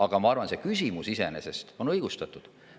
Aga ma arvan, et see küsimus iseenesest on õigustatud.